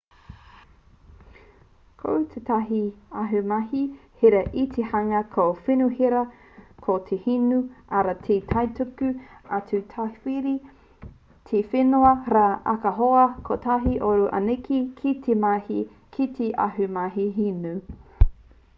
ko tētahi ahumahi hira ki te hunga nō wenehūera ko te hinu arā he kaituku atu ki tāwahi te whenua rā ahakoa kotahi ōrau anake kei te mahi ki te ahumahi hinu